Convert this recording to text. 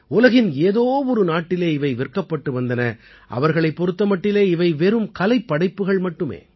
உலகின் ஏதோ ஒரு நாட்டிலே இவை விற்கப்பட்டு வந்தன அவர்களைப் பொறுத்த மட்டிலே இவை வெறும் கலைப்படைப்புகள் மட்டுமே